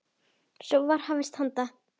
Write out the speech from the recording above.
Svo var hafist handa.